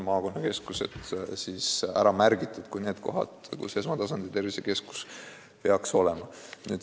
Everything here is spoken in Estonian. Maakonnakeskused on ju eraldi ära märgitud kui kohad, kus esmatasandi tervisekeskus peaks olema.